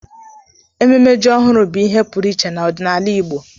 Ememe ji ọhụrụ bụ ihe pụrụ iche n'ọdịnala Igbo